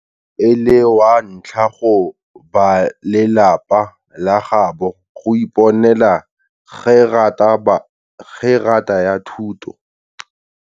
Jaaka e le wa ntlha go balelapa la gaabo go iponela gerata ya thuto.